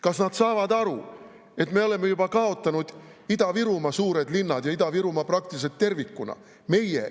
Kas nad saavad aru, et me oleme juba kaotanud Ida-Virumaa suured linnad ja Ida-Virumaa praktiliselt tervikuna?